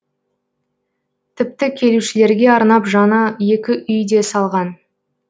тіпті келушілерге арнап жаңа екі үй де салған